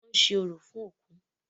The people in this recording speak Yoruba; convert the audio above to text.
Wọ́n ń ṣe orò fún òkú.